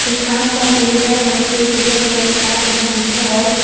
आम का पेड़ है वहीं पे एक उजला कलर कि कार लगी हुई है और--